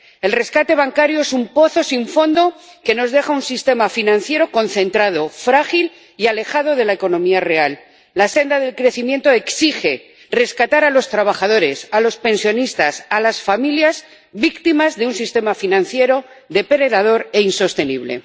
El rescate bancario es un pozo sin fondo que nos deja un sistema financiero concentrado, frágil y alejado de la economía real. La senda del crecimiento exige rescatar a los trabajadores, a los pensionistas, a las familias, víctimas de un sistema financiero depredador e insostenible.